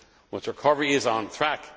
Much recovery is on track.